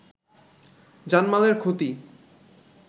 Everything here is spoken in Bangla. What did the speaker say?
জানমালের ক্ষতি